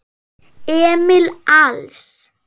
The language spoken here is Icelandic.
Emil Als.